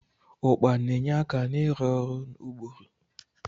Ụkpà na-enye aka n'ịrụ ọrụ ụbụrụ.